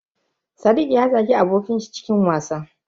Sadiq ya zagi abokin shi cikin wasa.